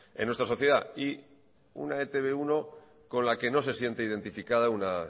en nuestra sociedad y una e te be uno con la que no se siente identificada una